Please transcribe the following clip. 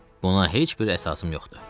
Buna heç bir əsasım yoxdur.